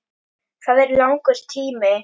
Það er langur tími.